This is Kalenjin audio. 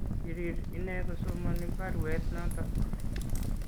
Kirir ineekosomani baruet notok